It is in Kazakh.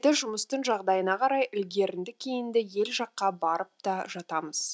жұмыстың жағдайына қарай ілгерінді кейінді ел жаққа барып та жатамыз